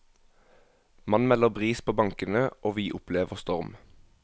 Man melder bris på bankene, og vi opplever storm.